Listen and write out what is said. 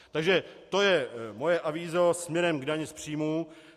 Takže to je moje avízo směrem k dani z příjmů.